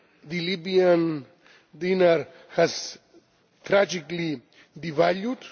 The Libyan dinar has tragically devalued.